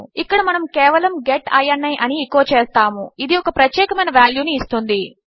ఇక్కడ మనము కేవలము గెట్ ఇని అని ఎకో చేస్తాము ఇది ఒక ప్రత్యేకమైన వాల్యూ ను ఇస్తుంది